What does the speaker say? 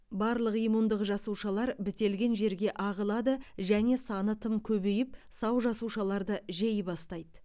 барлық иммундық жасушалар бітелген жерге ағылады және саны тым көбейіп сау жасушаларды жей бастайды